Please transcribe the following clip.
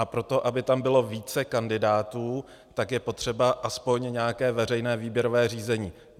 A proto, aby tam bylo více kandidátů, tak je potřeba aspoň nějaké veřejné výběrové řízení.